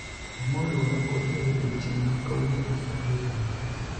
amor riwora kodu e odiochieng' ma kawuono e romo ni